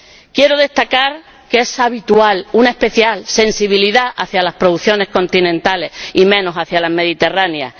Quiero destacar que es habitual una especial sensibilidad hacia las producciones continentales y menos hacia las mediterráneas.